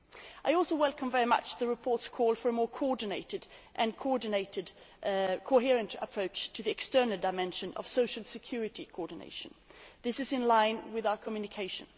I also very much welcome the report's call for a more coordinated and coherent approach to the external dimension of social security coordination. This is in line with our Communication.